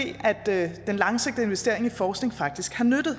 at den langsigtede investering i forskning faktisk har nyttet